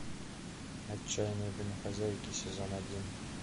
отчаянные домохозяйки сезон один